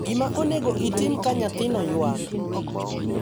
Gima onego itim ka nyathino ywak.